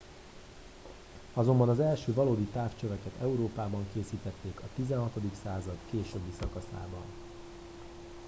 azonban az első valódi távcsöveket európában készítették a 16. század későbbi szakaszában